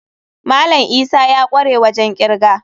Malam Isa ya kware wajen kirga.